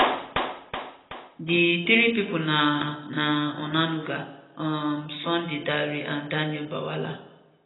di three pipo na na onanuga um sunday dare and daniel bwala